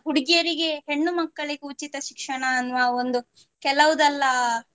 ಹುಡುಗಿಯರಿಗೆ ಹೆಣ್ಣು ಮಕ್ಕಳಿಗೂ ಉಚಿತ ಶಿಕ್ಷಣ ಅನ್ನುವ ಒಂದು ಕೆಲವುದೆಲ್ಲ